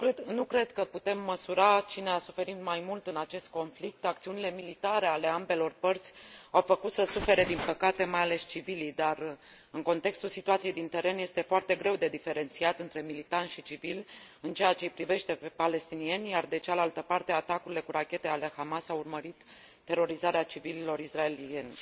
Nu cred că putem măsura cine a suferit mai mult în acest conflict, acțiunile militare ale ambelor părți au făcut să sufere, din păcate, mai ales civilii, dar, în contextul situației de pe teren, este foarte greu de diferențiat între militari și civili, în ceea ce i privește pe palestinieni, iar de cealaltă parte, atacurile cu rachete ale Hamas au urmărit terorizarea civililor israelieni.